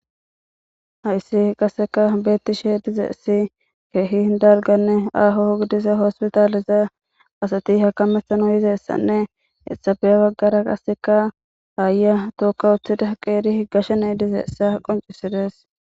Hayssi qasseka beetti she dizeessi keehi n dalganne aaho hugidisa hospitaaliza asati hakamesano yizeessanne esabeya baggara qasseka haaya tookka uthida qeeri higashane ydizeessa qoncisides.